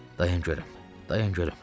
Dayan görüm, dayan görüm.